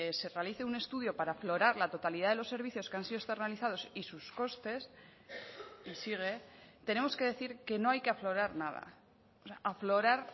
se realice un estudio para aflorar la totalidad de los servicios que han sido externalizados y sus costes y sigue tenemos que decir que no hay que aflorar nada aflorar